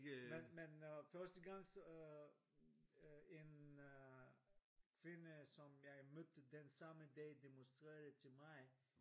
Men men øh første gang så øh en øh kvinde som jeg mødte den samme dag demonstrerede det til mig